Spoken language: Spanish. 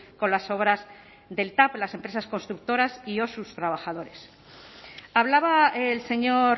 con las obras del tav las empresas constructoras y o sus trabajadores hablaba el señor